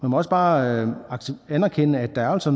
må også bare anerkende at der altså